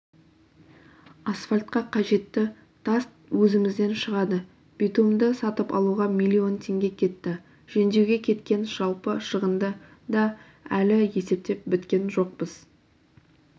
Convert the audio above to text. асфальтқа қажетті тас өзімізден шығады битумды сатып алуға миллион теңге кетті жөндеуге кеткен жалпы шығынды да әлі есептеп біткен жоқпыз